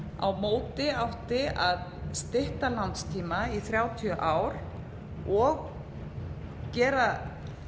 a móti átti að stytta lánstíma í þrjátíu ár og gera